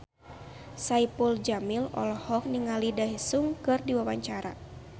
Saipul Jamil olohok ningali Daesung keur diwawancara